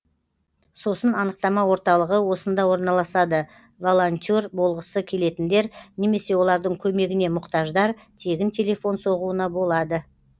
сосын анықтама орталығы осында орналасады волонтер болғысы келетіндер немесе олардың көмегіне мұқтаждар тегін телефон соғуына болады